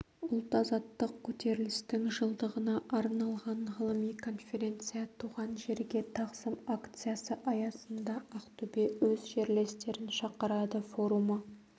ұлт-азаттық көтерілістің жылдығына арналған ғылыми конференция туған жерге тағзым акциясы аясында ақтөбе өз жерлестерін шақырады форумы